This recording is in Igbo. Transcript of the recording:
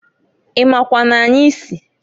I makwa n'anyị si?